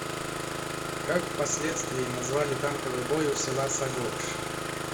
как в последствии назвали танковый бой у села сагопши